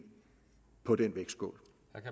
på den vægtskål